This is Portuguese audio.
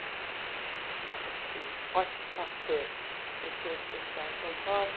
Chamava-se Ótica Pasteur, no centro da cidade de São Paulo.